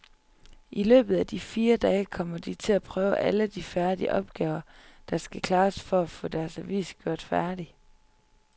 I løbet af de fire dage kommer de til at prøve alle de opgaver, der skal klares for at få deres avis gjort færdig.